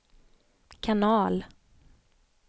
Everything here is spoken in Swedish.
kanal